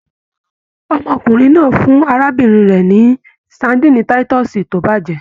Ọmọkùnrin náà fún arábìnrin rẹ ni sadinni titọsi to bajẹ